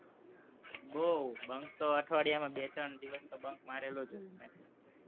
બોવ bunk તો અઠવાડિયામાં બે ત્રણ દિવસ તો bunk મારેલો જ હોય,